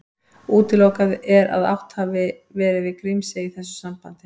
Útilokað er að átt hafi verið við Grímsey í þessu sambandi.